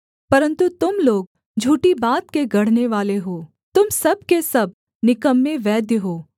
परन्तु तुम लोग झूठी बात के गढ़नेवाले हो तुम सब के सब निकम्मे वैद्य हो